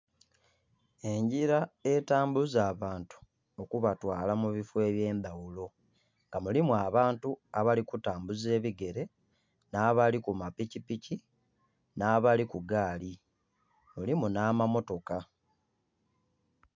Engila etambuza abantu okubatwala mu bifo ebye ndhaghulo nga mulimu abantu abali kutambula ebigere, nha abali ku mapikipiki, nha abali ku gaali mulimu nha mamotoka.